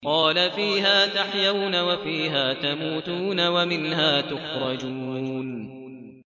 قَالَ فِيهَا تَحْيَوْنَ وَفِيهَا تَمُوتُونَ وَمِنْهَا تُخْرَجُونَ